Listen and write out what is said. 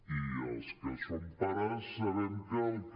i els que som pares sabem que el que